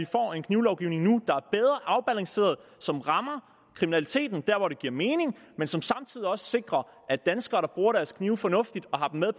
får en knivlovgivning der er bedre afbalanceret og som rammer kriminaliteten der hvor det giver mening men som samtidig sikrer at danskere der bruger deres knive fornuftigt og har dem med